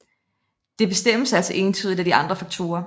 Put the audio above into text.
Det bestemmes altså entydigt af de andre faktorer